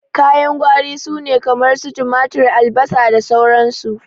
Kayan gwari sune kamar su tumatur, albasa, sauran su.